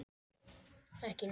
Ekki neitt.